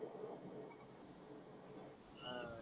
अस